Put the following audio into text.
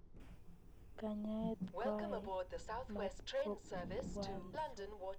Kanyaet koae matkopwanso